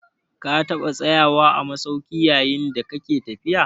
Ka taɓa tsayawa a masauki yayin da kake tafiya?